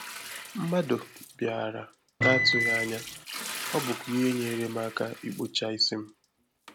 Mmadụ bịàrị̀ n’atụghị anya, ọ́ bùkwa ihe nyere m aka ikpocha isi m